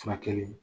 Furakɛli